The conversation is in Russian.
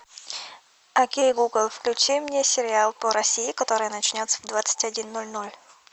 окей гугл включи мне сериал по россии который начнется в двадцать один ноль ноль